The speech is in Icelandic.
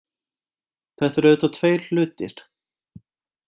Þetta eru auðvitað tveir hlutir